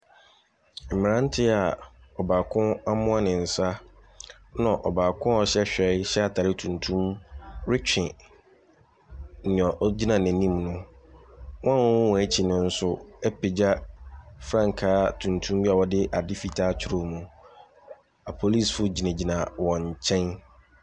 Mmeranteɛ a ɔbaako amoa ne nsa, ɛna ɔbaako a ɔhyɛ hwɛe hyɛ ataade tuntum retwe nea ɔgyina n'anim no. Wɔn a wɔwɔwɔn akyi no nso apagya frankaa tuntum bi a ɔde adeɛ fitaa atwerɛ mi. Apolisifoɔ gyinagyina wɔn nkyɛm.